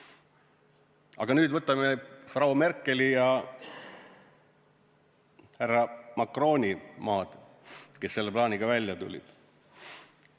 Aga nüüd võtame Frau Merkeli ja härra Macroni maad, kes selle plaaniga välja tulid.